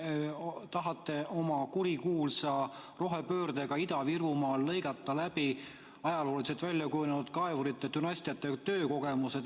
Te tahate oma kurikuulsa rohepöördega Ida-Virumaal lõigata läbi ajalooliselt väljakujunenud kaevurite dünastiate töökogemus.